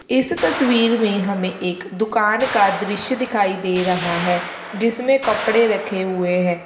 इस तस्वीर में एक दुकान का दृश्य दिखाई दे रहा है जिसमें कपड़े रखें हुए है।